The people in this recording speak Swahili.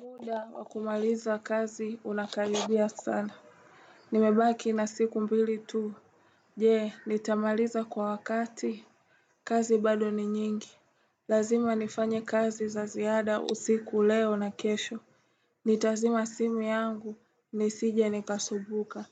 Muda wa kumaliza kazi unakaribia sana. Nimebaki na siku mbili tu. Je, nitamaliza kwa wakati. Kazi bado ni nyingi. Lazima nifanye kazi za ziada usiku leo na kesho. Nitazima simu yangu, nisije nikasumbuka.